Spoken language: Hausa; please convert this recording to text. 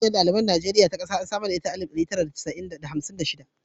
Ƙungiyar ɗaliban Najeriya ta ƙasa an samar da ita a alif ɗari tara da hamsin da shida.